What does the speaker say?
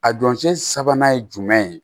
A donc sabanan ye jumɛn ye